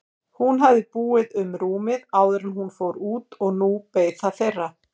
Hún hafði búið um rúmið áður en hún fór út og nú beið það þeirra.